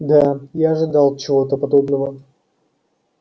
да я ожидал чего-то подобного